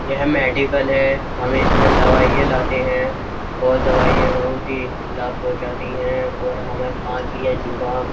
यह मेडिकल है। हम इसमें दवाइयाँ लाते हैं। और दवाइयाँ बहोत ही लाभ पहूँचाती हैं। और हमें खासी या जुखाम --